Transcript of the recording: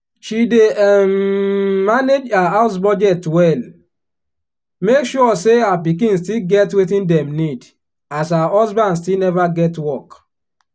she dey um manage her house budget well make sure say her pikin still get wetin dem need as her husband still neva get work.